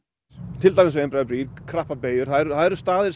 til dæmis við einbreiðar brýr og krappar beygjur það eru staðir